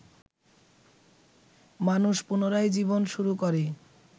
মানুষ পুনরায় জীবন শুরু করে